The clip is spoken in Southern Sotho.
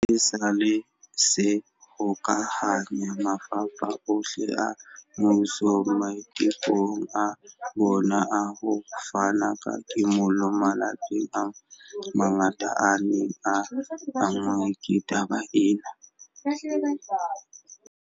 esale se hokahanya mafapha ohle a mmuso maitekong a bona a ho fana ka kimollo malapeng a mangata a neng a anngwe ke taba ena.